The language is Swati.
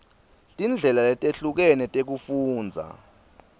tindlela letehlukene tekufundza